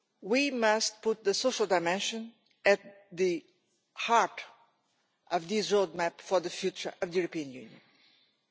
We must put the social dimension at the heart of this roadmap for the future of the European Union.